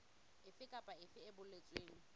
efe kapa efe e boletsweng